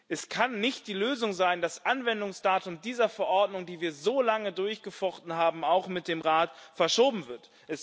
Es kann nicht die Lösung sein, dass das Anwendungsdatum dieser Verordnung, die wir so lange durchgefochten haben auch mit dem Rat verschoben wird.